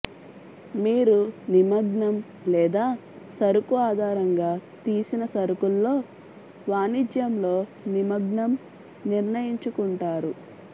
మీరు నిమగ్నం లేదా సరుకు ఆధారంగా తీసిన సరుకుల్లో వాణిజ్యం లో నిమగ్నం నిర్ణయించుకుంటారు